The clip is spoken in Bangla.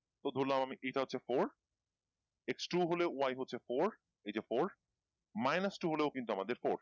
তো ধরলাম আমি এইটা হচ্ছে fourX two হলে Y হচ্ছে four এইযে four minus two হলেও কিন্তু আমাদের four